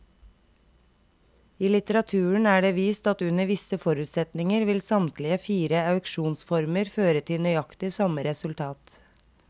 I litteraturen er det vist at under visse forutsetninger vil samtlige fire auksjonsformer føre til nøyaktig samme resultat.